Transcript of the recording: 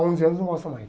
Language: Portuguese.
Onze anos, não gosta mais.